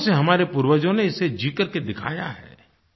सदियों से हमारे पूर्वजों ने इसे जी करके दिखाया है